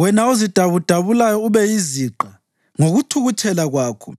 Wena ozidabudabulayo ube yiziqa ngokuthukuthela kwakho,